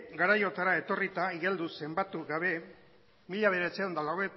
garaiotara etorrita igeldo zenbatu gabe mila bederatziehun eta